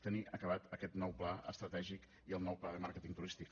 tenir acabat aquest nou pla estratègic i el nou pla de màrqueting turístic